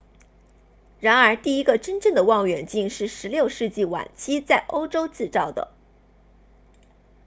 然而第一个真正的望远镜是16世纪晚期在欧洲制造的